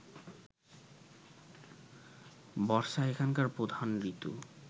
বর্ষা এখানকার প্রধান ঋতু